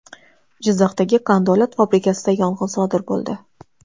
Jizzaxdagi qandolat fabrikasida yong‘in sodir bo‘ldi.